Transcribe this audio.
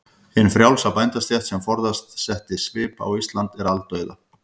Hin frjálsa bændastétt, sem forðum setti svip á Ísland, er aldauða.